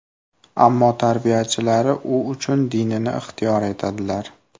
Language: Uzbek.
Ammo tarbiyachilari u uchun dinini ixtiyor etadilar.